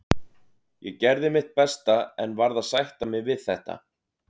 Ég gerði mitt besta en verð að sætta mig við þetta.